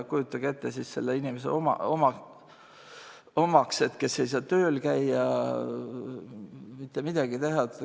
Kujutage ette siis selle inimese omakseid, kes ei saa tööl käia, mitte midagi teha.